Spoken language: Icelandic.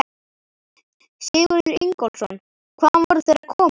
Sigurður Ingólfsson: Hvaðan voru þeir að koma?